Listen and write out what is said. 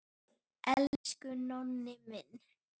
Elsku Nonni minn.